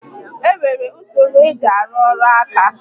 Enwere usoro esi arụ orụ ǹkà?